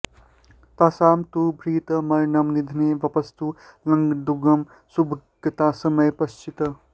तासां तु भर्तृ मरणं निधने वपुस्तु लग्नेन्दुगं सुभगतास्तमये पतिश्च